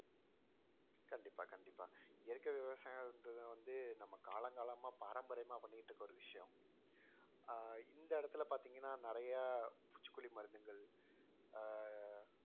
கண்டிப்பா கண்டிப்பா இயற்கை விவசாயம்ன்றத வந்து நம்ம காலம் காலமா பாரம்பரியமா பண்ணிட்டு இருக்க ஒரு விஷயம் அஹ் இந்த இடத்துல பார்த்தீங்கன்னா நிறைய பூச்சிக்கொல்லி மருந்துகள் அஹ்